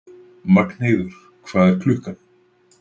Magnheiður, hvað er klukkan?